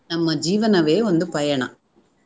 ನಮ್ಮ ಜೀವನವೇ ಒಂದು ಪಯಣ.